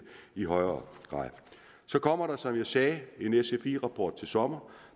i højere grad så kommer der som jeg sagde en sfi rapport til sommer